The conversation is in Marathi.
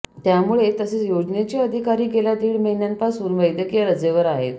त्यामुळे तसेच योजनेचे अधिकारी गेल्या दीड महिन्यांपासून वैद्यकीय रजेवर आहेत